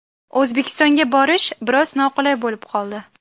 O‘zbekistonga borish biroz noqulay bo‘lib qoldi.